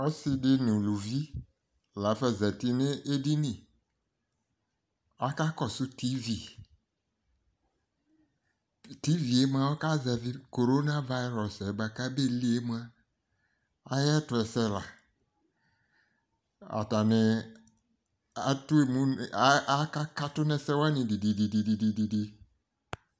Ɔsɩ dɩ nʋ ʋlʋvi lafa zatɩ nʋ edɩnɩ akakɔsʋ tivɩ Tivɩ mʋa ɔkazɛvɩ korona vayɩrɔs yɛ bʋa kʋ abelɩɩ yɛ mʋa ayɛtʋɛsɛ la atanɩ akakatʋ nɛsɛwanɩ dɩdɩdɩdɩdɩ